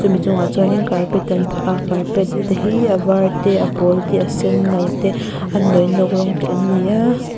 mi chungah chuanin carpet an phah a carpet te hi a var te a pawl te a sen no te a nawinawk rawng te an ni a.